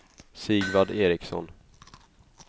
Sigvard Ericsson